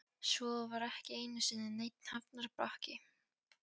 Svo var ekki einu sinni neinn hafnarbakki.